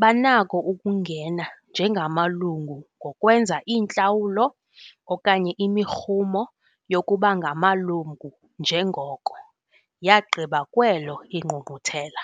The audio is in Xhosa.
banako ukungena njengamalungu ngokwenza iintlawulo okanye imirhumo yokuba ngamalungu njengoko yagqiba kwelo iNgqungquthela.